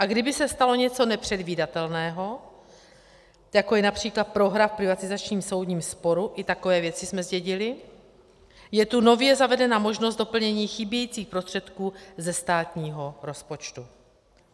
A kdyby se stalo něco nepředvídatelného, jako je například prohra v privatizačním soudním sporu, i takové věci jsme zdědili, je tu nově zavedena možnost doplnění chybějících prostředků ze státního rozpočtu.